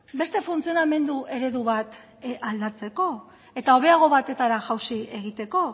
beste funtzionamendu eredu bat aldatzeko eta hobeago batetara jauzi egiteko